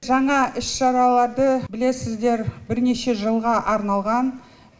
жаңа іс шараларды білесіздер бірнеше жылға арналған